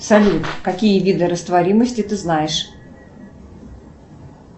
салют какие виды растворимости ты знаешь